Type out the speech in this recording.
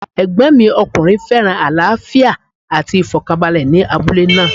Ẹ̀gbọ́n mi ọkùnrin féràn àlàáfíà àti ìfọ̀kànbalẹ̀ ní abúlé náà.